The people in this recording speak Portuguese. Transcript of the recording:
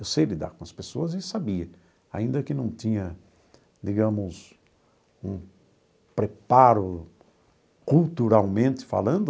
Eu sei lidar com as pessoas e sabia, ainda que não tinha, digamos, um preparo culturalmente falando.